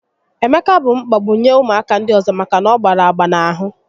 Emeka bụ mkpagbu nye ụmụaka ndị ọzọ maka na ọ gbara agba n'ahụ